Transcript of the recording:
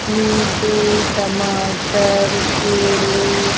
नींबू टमाटर केले --